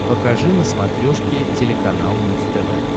покажи на смотрешке телеканал муз тв